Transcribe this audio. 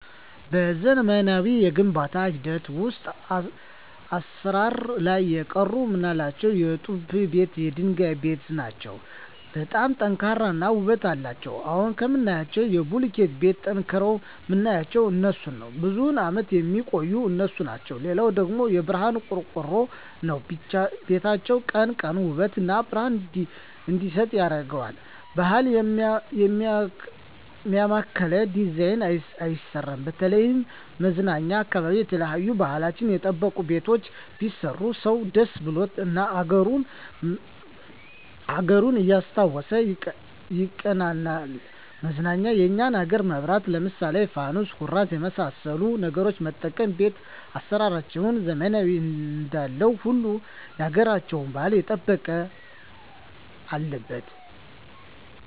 በዘመናዊ የግንባታ ሂደት ውሰጥ አሰራር ላይ የቀሩ ምላቸው የጡብ ቤት የድንጋይ ቤት ናቸው በጣም ጠንካራ እና ውበት አለቸው አሁን ከምናያቸው ከቡልኪት ቤት ጠንቅረዉ ምናያቸው እነሡን ነው ብዙም አመት የሚቆዩ እነሡ ናቸው ሌላው ደግሞ የብረሀን ቆርቆሮ ነው ቤታችን ቀን ቀን ውበት እና ብረሀን እንዲሰጥ ያረገዋል ባህል ያማከለ ዲዛይን አይሰራም በተለይም መዝናኛ አካባቢ የተለያዩ ባህልችን የጠበቁ ቤቶች ቢሰሩ ሰው ደስ ብሎት እና አገሩን እያስታወሱ ይቀናናል መዝናኛ የኛን አገር መብራት ለምሳሌ ፋኑስ ኩራዝ የመሠሉ ነገሮች መጠቀም ቤት አሰራራችንን ዘመናዊ እንዳለው ሁሉ ያገራቸውን ባህል የጠበቀ አለበት